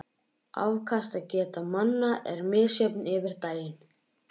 Afkastageta manna er misjöfn yfir daginn.